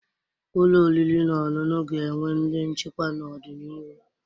Ụlọ oriri na ọṅụṅụ ga-enwe ndị nchikwa n'ọdịnihu.